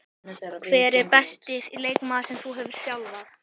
Hver er besti leikmaður sem þú hefur þjálfað?